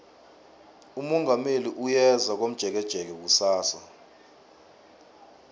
umongameli uyeza komjekejeke kusasa